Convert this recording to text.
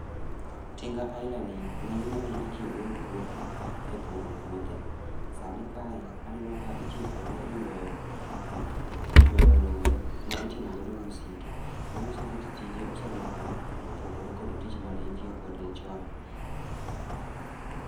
Tinga aila ni, ng'enyne ne itiyo go e puothe, e puro puothe. Sani kae, aneno ka itiyo kode e ywayo ywayo lori ma iting'o godo misike. Manyiso ni ti tije oselokore, opogore kod tich mane itiyo kode chon